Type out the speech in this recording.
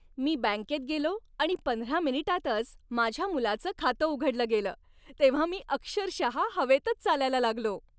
मी बँकेत गेलो आणि पंधरा मिनिटांतच माझ्या मुलाचं खातं उघडलं गेलं, तेव्हा मी अक्षरशः हवेतच चालायला लागलो.